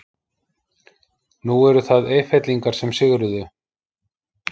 Nú eru það Eyfellingar sem sigruðu.